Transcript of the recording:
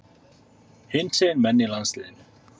Hinsegin menn í landsliðinu?